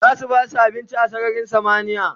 zasu basu abinci a sararin samaniya